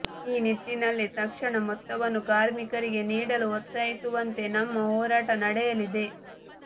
ಈ ನಿಟ್ಟಿನಲ್ಲಿ ತಕ್ಷಣ ಮೊತ್ತವನ್ನು ಕಾರ್ಮಿಕರಿಗೆ ನೀಡಲು ಒತ್ತಾಯಿಸುವಂತೆ ನಮ್ಮ ಹೋರಾಟ ನಡೆಯಲಿದೆ